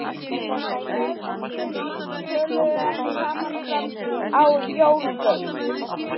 Feðginin töluðu ekki saman fram að jólum.